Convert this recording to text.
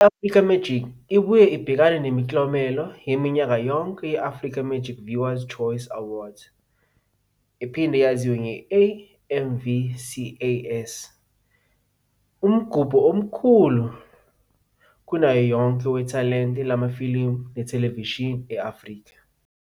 I-Africa Magic ibuye ibhekane nemiklomelo yaminyaka yonke ye-Africa Magic Viewers 'Choice Awards, AMVCAs, umgubho omkhulu kunayo yonke wethalente lamafilimu nethelevishini e-Afrika.